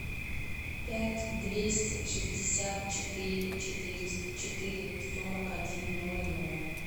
пять двести шестьдесят четыре четыреста четыре сорок один ноль ноль